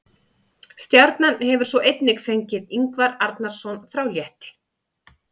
Stjarnan hefur svo einnig fengið Ingvar Arnarson frá Létti.